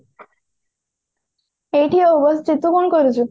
ଏଇଠି ଆଉ ବସିଛି ତୁ କଣ କରୁଛୁ